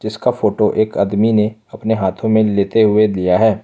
इसका फोटो एक आदमी ने अपने हाथों में लेते हुए दिया है।